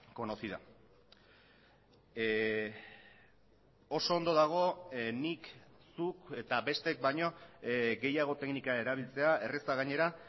conocida oso ondo dago nik zuk eta besteek baino gehiago teknika erabiltzea erraza gainera